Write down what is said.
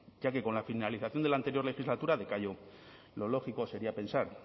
ya que con la finalización de la anterior legislatura decayó lo lógico sería pensar